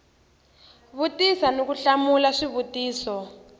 vutisa ni ku hlamula swivutiso